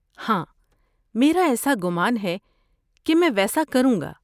ہاں، میرا ایسا گمان ہے کہ میں ویسا کروں گا۔